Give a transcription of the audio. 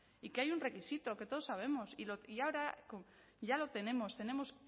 y que hay un requisito que todos sabemos y ahora ya lo tenemos tenemos